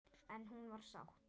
En hún var sátt.